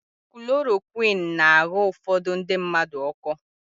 Kulorokwịn na-aghọ ufodu ndị mmadụ ọkọ.